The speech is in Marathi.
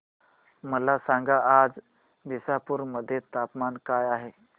मला सांगा आज दिसपूर मध्ये तापमान काय आहे